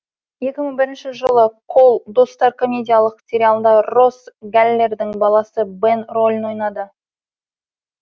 екі мың бірінші жылы қол достар комедиялық сериалында росс гәллердің баласы бэн рөлін ойнады